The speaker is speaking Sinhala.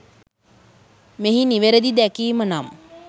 මෙහි නිවැරදි දැකීම නම්